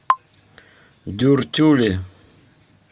дюртюли